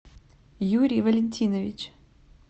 юрий валентинович